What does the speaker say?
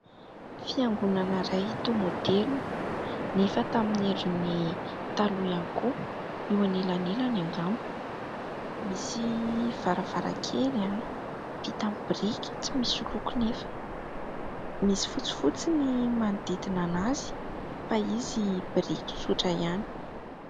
Fiangonana iray toa maoderina nefa tamin'ny endriny taloha ihany koa. Eo anelanelany angamba. Misy varavarankely vita amin'ny biriky tsy misy loko nefa misy fotsifotsy ny manodidina anazy, fa izy biriky tsotra ihany.